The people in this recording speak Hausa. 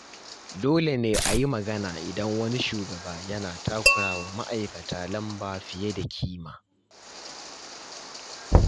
Dole ne a yi magana idan wani shugaba yana takura wa ma’aikata lamba fiye da kima.